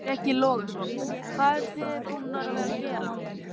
Breki Logason: Hvað eruð þið búnar að vera að gera?